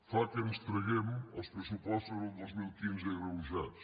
fa que ens traguem els pressupostos del dos mil quinze agreujats